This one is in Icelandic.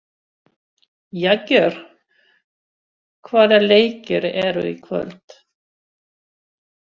Jagger, hvaða leikir eru í kvöld?